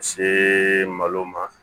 See malo ma